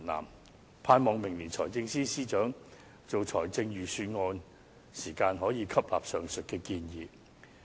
我盼望明年財政司司長制訂財政預算案時，可以吸納上述的建議。